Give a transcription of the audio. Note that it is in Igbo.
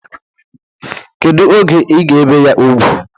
Kedu oge ị ga ebe ya ugwu?